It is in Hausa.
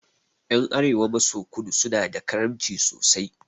Ƴan arewa maso kudu suna da karamci sosai